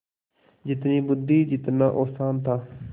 जितनी बुद्वि जितना औसान था